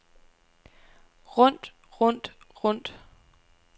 rundt rundt rundt